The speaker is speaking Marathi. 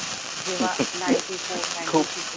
जेव्हा ninety four ninety two